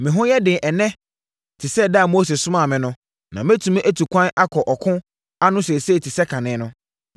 Me ho yɛ den ɛnnɛ te sɛ ɛda a Mose somaa me no na mɛtumi atu kwan akɔ ɔko ano seesei te sɛ kane no.